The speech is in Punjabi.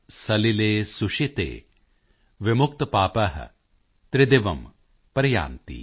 ਸਲਿਲੇ ਸੁਸ਼ੀਤੇ ਵਿਮੁਕਤਪਾਪਾ ਤ੍ਰਿਦਿਵਮ੍ ਪ੍ਰਯਾਂਤਿ॥